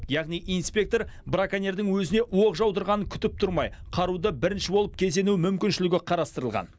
яғни инспектор браконьердің өзіне оқ жаудырғанын күтіп тұрмай қаруды бірінші болып кезену мүмкіншілігі қарастырылған